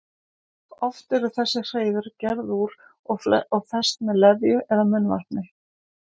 Oft eru þessi hreiður gerð úr og fest með leðju eða munnvatni.